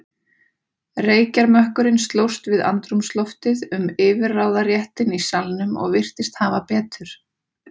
Reykjarmökkurinn slóst við andrúmsloftið um yfirráðaréttinn í salnum og virtist hafa betur.